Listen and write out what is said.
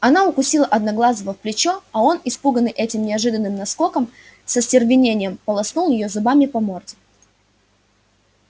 она укусила одноглазого в плечо а он испуганный этим неожиданным наскоком с остервенением полоснул её зубами по морде